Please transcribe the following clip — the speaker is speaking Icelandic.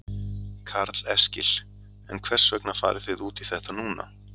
Karl Eskil: En hvers vegna farið þið út í þetta núna?